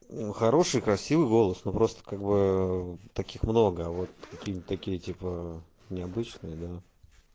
хороший красивый голос ну просто как бы ээ таких много а вот какие-нибудь такие типа необычные да